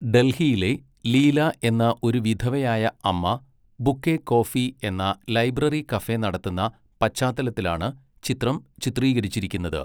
ഡൽഹിയിലെ ലീല എന്ന ഒരു വിധവയായ അമ്മ 'ബുക്ക് എ കോഫി' എന്ന ലൈബ്രറി കഫെ നടത്തുന്ന പശ്ചാത്തലത്തിലാണ് ചിത്രം ചിത്രീകരിച്ചിരിക്കുന്നത്.